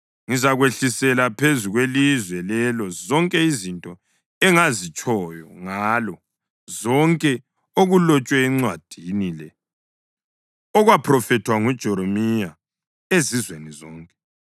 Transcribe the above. Ngizakwehlisela phezu kwelizwe lelo zonke izinto engazitshoyo ngalo, konke okulotshwe encwadini le okwaphrofethwa nguJeremiya ezizweni zonke.